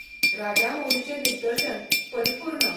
राजामौलीचें दिगदर्शन, परिपूर्ण.